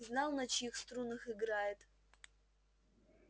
знал на чьих струнах играет